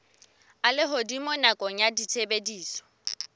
a lehodimo nakong ya tshebediso